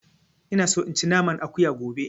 Ina so in ci naman Akuya gobe